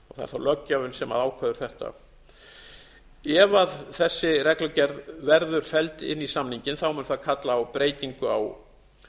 og það er þá löggjafinn sem ákveður þetta ef þessi reglugerð verður felld inn í samninginn mun það kalla á breytingu á